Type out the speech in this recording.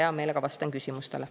Hea meelega vastan küsimustele.